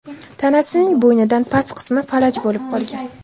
Tanasining bo‘ynidan past qismi falaj bo‘lib qolgan.